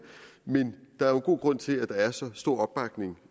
men der er jo god grund til at der er så stor opbakning